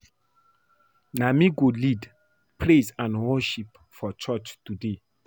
Na me go lead praise and worship for church today